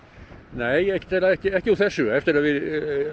nei ekki ekki ekki úr þessu eftir að við